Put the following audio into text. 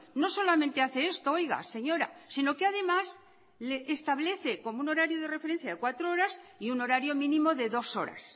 no solamente hace esto oiga señora si no que además establece como un horario de referencia de cuatro horas y un horario mínimo de dos horas